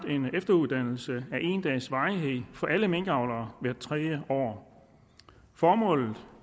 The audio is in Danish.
en efteruddannelse af en dags varighed for alle minkavlere hvert tredje år formålet